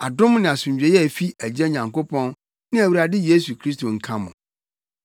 Adom ne asomdwoe a efi yɛn Agya Nyankopɔn ne Awurade Yesu Kristo nka mo.